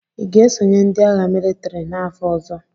Ị ga-esonye ndị agha mịlịtrị n'afọ ọzọ?